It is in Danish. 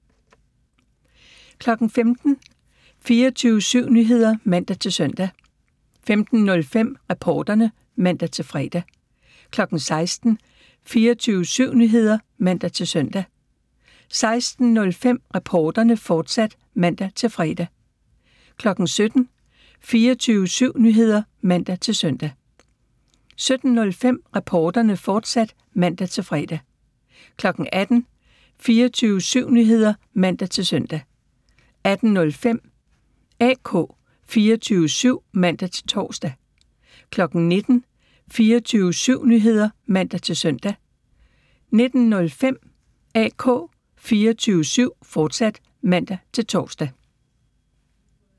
15:00: 24syv Nyheder (man-søn) 15:05: Reporterne (man-fre) 16:00: 24syv Nyheder (man-søn) 16:05: Reporterne, fortsat (man-fre) 17:00: 24syv Nyheder (man-søn) 17:05: Reporterne, fortsat (man-fre) 18:00: 24syv Nyheder (man-søn) 18:05: AK 24syv (man-tor) 19:00: 24syv Nyheder (man-søn) 19:05: AK 24syv, fortsat (man-tor)